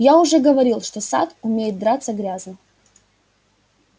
я уже говорил что сатт умеет драться грязно